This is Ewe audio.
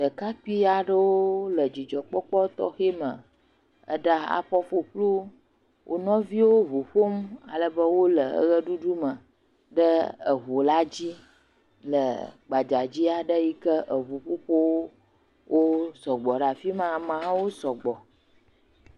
Ɖekakapui aɖewo le dzidzɔkpɔkpɔ tɔxɛ me ɖe afɔ ƒuƒlu wonɔviwo ʋu ƒom alebe wole ɣeɖuɖu me le ʋu la dzi le gbadzadzi aɖe yike ʋu gbogbowo sɔgbɔ ɖe afima amehawo sɔgbɔ